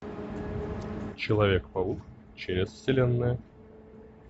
человек паук через вселенные